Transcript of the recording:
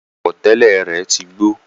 Aṣọ àwọ̀tẹ́lẹ̀ rẹ̀ tí gbó